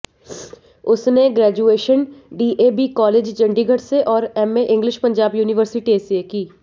उसने graduation DAV college Chandigarh से और एमए इंग्लिश पंजाब यूनिवर्सटी से की